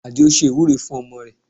Adio ṣe ìwúre fún ọmọ rẹ̀